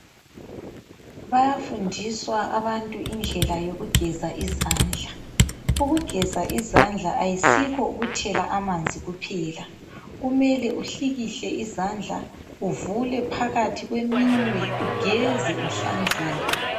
Bayafundiswa abantu indlela yokugeza izandla. Ukugeza izandla ayisikho ukuthela amanzi kuphela. Kumele uhlikihle izandla, uvule phakathi kweminwe, ugeze uhlanzeke.